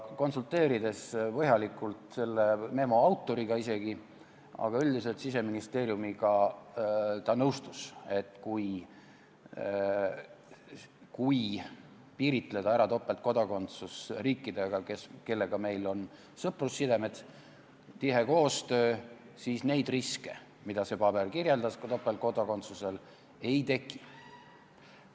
Konsulteerides põhjalikult selle memo autoriga, aga üldiselt Siseministeeriumiga, ta nõustus, et kui piiritleda topeltkodakondsus riikidega, kellega meil on sõprussidemed, tihe koostöö, siis neid riske, mida see paber kirjeldas, ei teki.